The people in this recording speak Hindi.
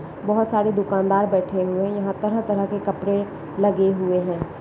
बहुत सारे दुकानदार बैठे हुए है यहां तरह तरह के कपड़े लगे हुए है।